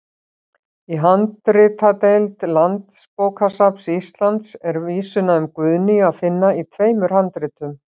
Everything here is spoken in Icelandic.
Í handritadeild Landsbókasafns Íslands er vísuna um Guðnýju að finna í tveimur handritum.